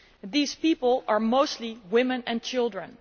These people are mostly women and children.